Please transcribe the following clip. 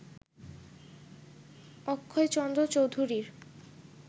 অক্ষয়চন্দ্র চৌধুরীর